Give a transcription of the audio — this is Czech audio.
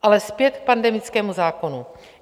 Ale zpět k pandemickému zákonu.